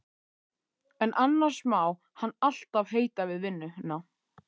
En annars má hann alltaf heita við vinnuna.